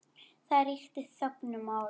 Það ríkti þögn um málið.